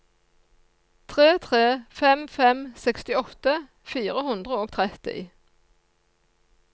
tre tre fem fem sekstiåtte fire hundre og tretti